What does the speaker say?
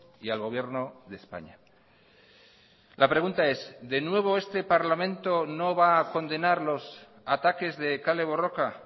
y al gobierno de españa la pregunta es de nuevo este parlamento no va a condenar los ataques de kale borroka